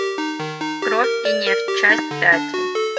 кровь и нефть часть пять